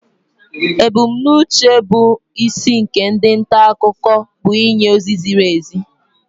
Ebumnuche bụ isi nke ndi nta akụkọ bụ ịnye ozi ziri ezi